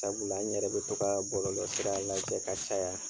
Sabula an yɛrɛ bɛ to ka bɔlɔlɔ sira lajɛ ka caya.